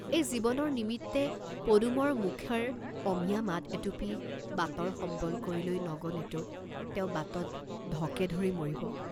এই জীৱনৰ নিমিত্তে পদুমৰ মুখেৰ অমিয়া মাত এটুপি বাটৰ সম্বল কৰি লৈ নগলেতো তেওঁ বাটত ঢকেধৰি মৰিব।